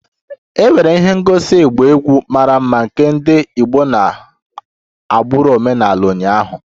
E nwere ihe ngosi ịgba egwu mara mma nke ndị Igbo nọ n'agbụrụ omenala ụnyaahụ